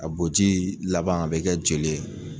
A bɔ ji laban a bi kɛ joli ye